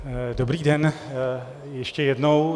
Dobrý den ještě jednou.